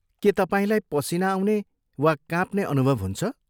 के तपाईँलाई पसिना आउने वा काँप्ने अनुभव हुन्छ?